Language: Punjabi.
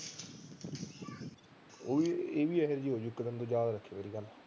ਉਹ ਇਹ ਵੀ ਇਹੀ ਜਿਹੀ ਹੋ ਗੀ ਇੱਕ ਦਿਨ ਯਾਦ ਰੱਖੀ ਮੇਰੀ ਗੱਲ